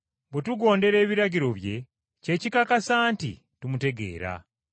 Bwe tugondera ebiragiro bye, kye kikakasa nti tumutegeera.